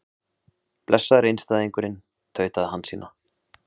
Blessaður einstæðingurinn, tautaði Hansína.